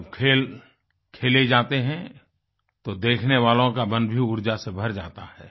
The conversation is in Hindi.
जब खेल खेले जाते हैं तो देखने वालों का मन भी ऊर्जा से भर जाता है